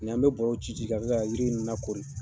an mi bɔrɔ ci ci ka kɛ yiri ninnu na kori.